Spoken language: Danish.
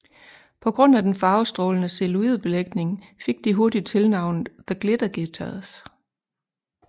På grund af den farvestrålende celluloidbelægning fik de hurtigt tilnavnet The Glitter Guitars